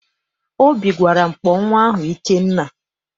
Obi gwara m, kpọọ nnwa ahụ Ikenna!